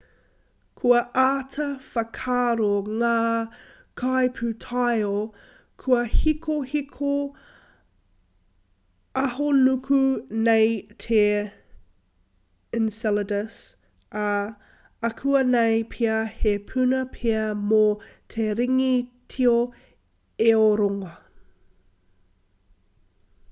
kua āta whakaaro ngā kaipūtaiao kua hikohiko ahonuku nei te enceladus ā akuanei pea he puna pea mō te ringi tio e o rongo